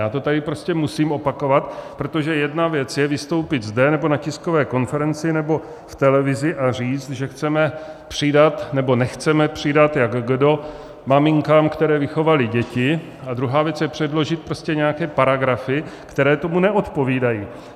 Já to tady prostě musím opakovat, protože jedna věc je vystoupit zde nebo na tiskové konferenci nebo v televizi a říct, že chceme přidat, nebo nechceme přidat, jak kdo, maminkám, které vychovaly děti, a druhá věc je předložit prostě nějaké paragrafy, které tomu neodpovídají.